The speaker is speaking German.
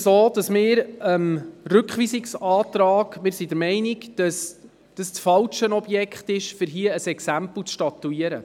Wir sind der Meinung, dies sei das falsche Objekt, um ein Exempel zu statuieren.